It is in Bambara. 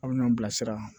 Aw bɛ ɲɔn bilasira